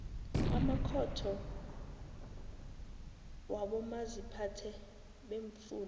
amakhotho wabomaziphathe beemfunda